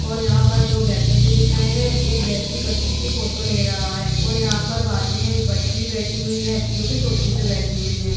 और यहाँ पर दो व्यक्ति भी दिख रहे हैं। एक व्यक्ति बच्ची की फोटो ले रहा है और यहाँ पर बाजु में एक बच्ची भी बैठी हुई है जोकि कुर्सी पे बैठी हुई है।